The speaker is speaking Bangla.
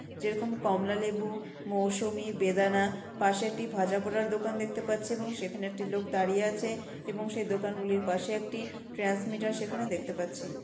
যেরকম কমলালেবু মৌসুমী বেদানা পাশে একটি ভাজাপোড়ার দোকান দেখতে পাচ্ছি। এবং সেখানে একটি লোক দাঁড়িয়ে আছে এবং সেই দোকানগুলির পাশে একটি ট্রান্সমিটার সেখানে দেখতে পাচ্ছি।